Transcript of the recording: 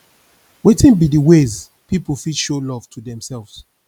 wetin be di ways people fit show love to demselves